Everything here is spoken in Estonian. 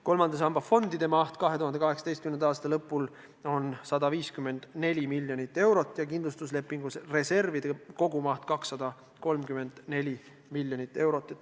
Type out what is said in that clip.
2018. aasta lõpul on kolmanda samba fondide maht 154 miljonit eurot ja kindlustuslepingu reservide kogumaht 234 miljonit eurot.